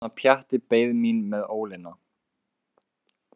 Ég man að Pjatti beið mín með ólina.